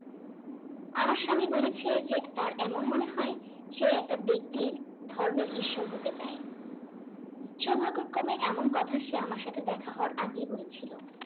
আমার স্বামী বলেছে যে তার এমন মনে হয় সে একটা ব্যক্তির ধর্মের ঈশ্বর হতে চায় সৌভাগ্য ক্রমে এমন কথা সে আমার সাথে দেখা হওয়ার আগেই বলেছিল